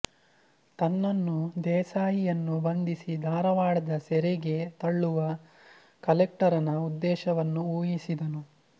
ತನ್ನನ್ನೂ ದೇಸಾಯಿ ಯನ್ನೂ ಬಂಧಿಸಿ ಧಾರವಾಡದ ಸೆರೆಗೆ ತಳ್ಳುವ ಕಲೆಕ್ಟರನ ಉದ್ದೇಶವನ್ನು ಊಹಿಸಿದನು